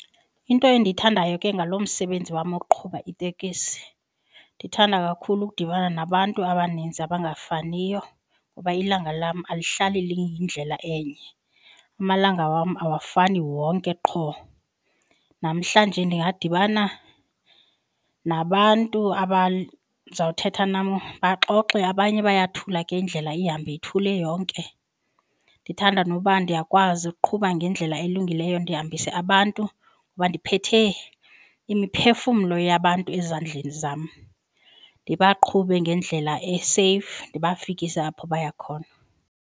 Into endiyithandayo ke ngalo msebenzi wam wokuqhuba itekisi ndithanda kakhulu ukudibana nabantu abaninzi abangafaniyo ngoba ilanga lam alihlali liyindlela enye. Amalanga wam awafani wonke qho, namhlanje ndingadibana nabantu abazawuthetha nam baxoxe, abanye bayathula ke indlela ihambe ithule yonke. Ndithanda noba ndiyakwazi ukuqhuba ngendlela elungileyo ndihambise abantu kuba ndiphethe imiphefumlo yabantu ezandleni zam, ndibaqhube ngendlela eseyifu ndibafikise apho baya khona.